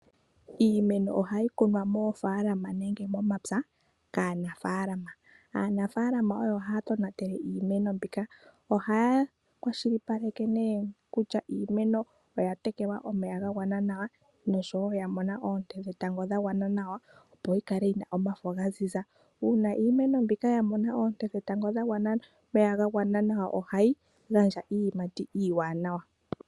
Iimeno ohayi kunwa moofalama nenge momapya kaanafalama. Aanafalama oyo haa tonatele iimeno mbika. Ohaa kwashilipaleke kutya iimeno oya tekelwa omeya gagwana nawa noshowo ngele oya mona oote dhetango dhawana nawa. Opo yikale yina omafo gaziza. Uuna iimeno mbika ya mona oonte dhetango dha wana nawa nomeya gawana nawa ohayi gandja iiyimati iiwanawa.